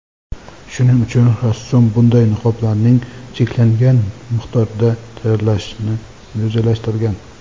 Shuning uchun rassom bunday niqoblarning cheklangan miqdorda tayyorlashni rejalashtirgan.